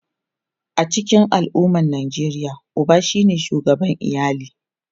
A cikin al’ummar Nijeriya, uba ne shugaban iyali.